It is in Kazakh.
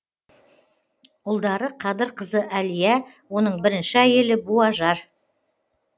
ұлдары қадыр қызы әлия оның бірінші әйелі буажар